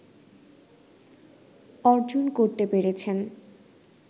অর্জন করতে পেরেছেন